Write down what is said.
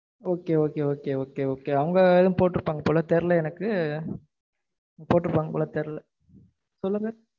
okay okay okay okay அவங்க போட்டிருப்பாங்க போல தெரியல எனக்கு போட்டிருப்பாங்க போல தெரியல சொல்லுங்க.